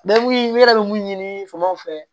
n yɛrɛ bɛ mun ɲini famaw fɛ